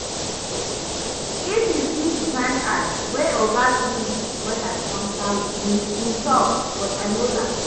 If you see the kyn eye wey oga give me when I counter wetin im talk, but I no lie